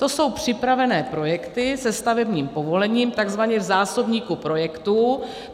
To jsou připravené projekty se stavebním povolením, takzvaně v zásobníku projektů.